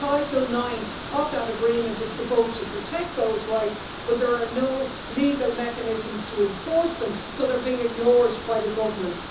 Title IX of that agreement is supposed to protect those rights, but there are no legal mechanisms to enforce them, so they are being ignored by the Government.